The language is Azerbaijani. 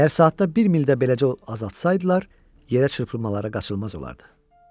Əgər saatda bir mildə beləcə azaltsaydılar, yerə çırpılmaları qaçılmaz olardı.